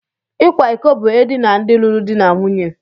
Ịkwa iko bu edina ndị lụrụ di na nwunye.